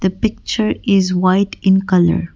the picture is white in colour.